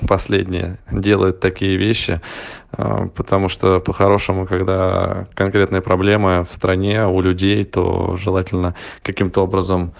последняя делает такие вещи потому что по-хорошему когда конкретные проблемы в стране у людей то желательно каким-то образом